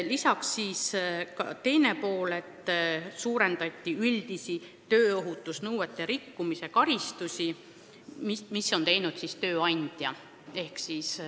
Lisaks oli siin teine pool: karmistati tööandja karistusi tööohutusnõuete rikkumise eest.